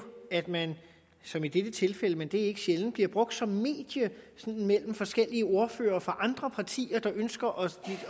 er at man som i dette tilfælde men det er ikke sjældent bliver brugt som medie mellem forskellige ordførere fra andre partier der ønsker